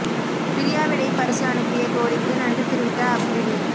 பிரியா விடை பரிசு அனுப்பிய கோலிக்கு நன்றி தெரிவித்த அப்ரிடி